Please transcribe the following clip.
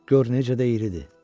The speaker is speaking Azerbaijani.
Gör necə də iridir!